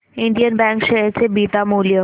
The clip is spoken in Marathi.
इंडियन बँक शेअर चे बीटा मूल्य